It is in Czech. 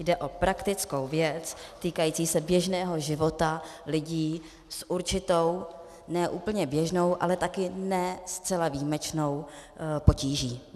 Jde o praktickou věc týkající se běžného života lidí s určitou ne úplně běžnou, ale také ne zcela výjimečnou potíží.